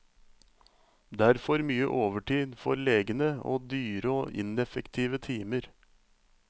Derfor mye overtid for legene og dyre og ineffektive timer.